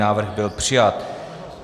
Návrh byl přijat.